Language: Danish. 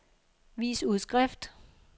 vis udskrift